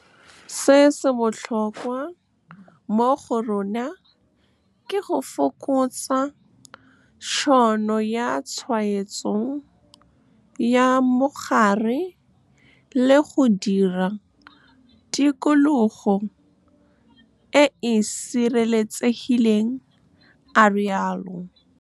Se se botlhokwa mo go rona ke go fokotsa tšhono ya tshwaetso ya mogare le go dira tikologo e e sireletsegileng, a rialo. Se se botlhokwa mo go rona ke go fokotsa tšhono ya tshwaetso ya mogare le go dira tikologo e e sireletsegileng, a rialo.